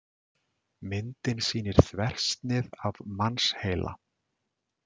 Myndin sýnir þversnið af mannsheila.